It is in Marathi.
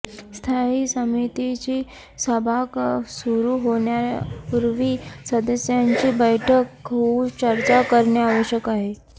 स्थायी समितीची सभा सुरु होण्यापूर्वी सदस्यांची बैठक होऊन चर्चा करणे आवश्यक आहे